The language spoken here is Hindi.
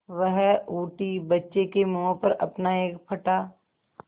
वह उठी बच्चे के मुँह पर अपना एक फटा